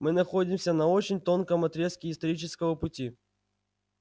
мы находимся на очень тонком отрезке исторического пути